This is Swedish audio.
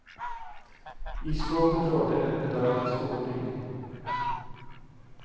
I skåpet rådde en pedantisk ordning.